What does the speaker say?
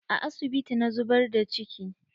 A asibiti na zubar da ciki.